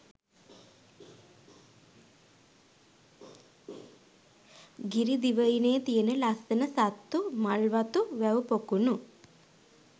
ගිරිදිවයිනේ තියෙන ලස්සන සත්තු, මල්වතු, වැව් පොකුණු